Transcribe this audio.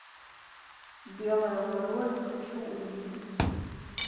белая ворона хочу увидеть